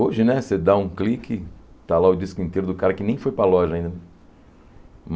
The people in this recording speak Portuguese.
Hoje, né, você dá um clique, está lá o disco inteiro do cara que nem foi para a loja ainda.